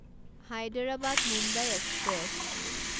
Hyderabad Mumbai express